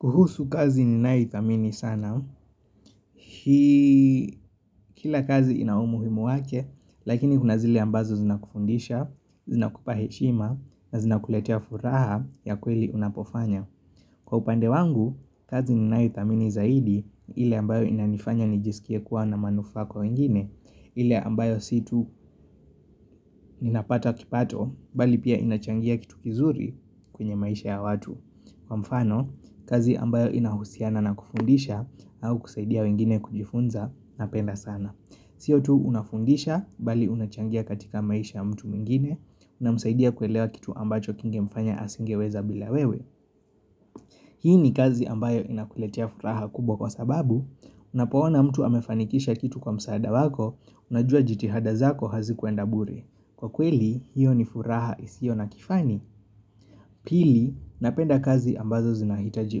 Kuhusu kazi ni nanayoithamini sana, kila kazi ina umuhimu wake, lakini kuna zile ambazo zinakufundisha, zinakupa heshima, na zinakuletea furaha ya kweli unapofanya. Kwa upande wangu, kazi ni ninaithamini zaidi, ile ambayo inanifanya nijisikie kuwa na manufaa kwa wengine, ile ambayo si tu ninapata kipato, bali pia inachangia kitu kizuri kwenye maisha ya watu. Kwa mfano, kazi ambayo inahusiana na kufundisha au kusaidia wengine kujifunza napenda sana. Sio tu unafundisha, bali unachangia katika maisha ya mtu mwingine namsaidia kuelewa kitu ambacho kingemfanya asingeweza bila wewe. Hii ni kazi ambayo inakuletia furaha kubwa kwa sababu, unapoona mtu amefanikisha kitu kwa msaada wako, unajua jitihada zako hazikuenda bure. Kwa kweli, hiyo ni furaha isiyo na kifani. Pili, napenda kazi ambazo zinahitaji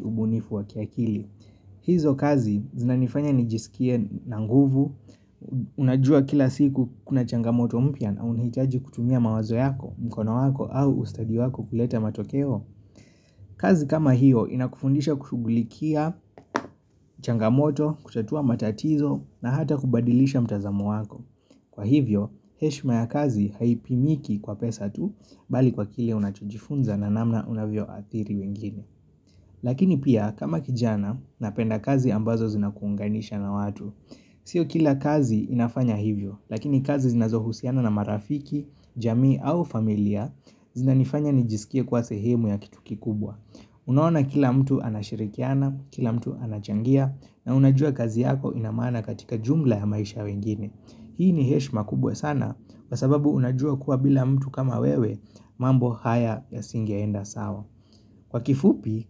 ubunifu wa kiakili. Hizo kazi zinanifanya nijisikie na nguvu, unajua kila siku kuna changamoto mpya na unahitaji kutumia mawazo yako, mkono wako au ustadi wako kuleta matokeo. Kazi kama hiyo inakufundisha kushugulikia, changamoto, kutatua matatizo na hata kubadilisha mtazamo wako. Kwa hivyo, heshima ya kazi haipimiki kwa pesa tu, bali kwa kile unachojifunza na namna unavyoathiri wengine. Lakini pia kama kijana napenda kazi ambazo zinakuunganisha na watu Sio kila kazi inafanya hivyo Lakini kazi zinazohusiana na marafiki, jamii au familia zinanifanya nijisikie kuwa sehemu ya kitu kikubwa Unaoana kila mtu anashirikiana, kila mtu anachangia na unajua kazi yako inamana katika jumla ya maisha ya wengine Hii ni heshima kubwa sana kwasababu unajua kuwa bila mtu kama wewe mambo haya yasingeenda sawa. Kwa kifupi,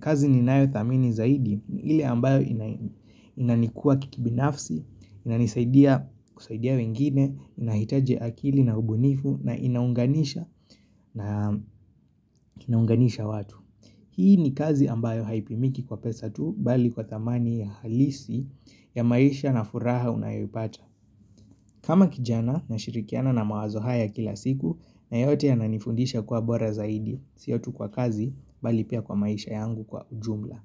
kazi ninayo thamini zaidi ile ambayo inanikuwa kikibinafsi, inanisaidia kusaidia wengine, inahitaji akili na ubunifu na inaunganisha na inaunganisha watu. Hii ni kazi ambayo haipimiki kwa pesa tu bali kwa thamani ya halisi ya maisha na furaha unayoipata. Kama kijana nashirikiana na mawazo haya kila siku na yote yananifundisha kuwa bora zaidi sio tu kwa kazi bali pia kwa maisha yangu kwa ujumla.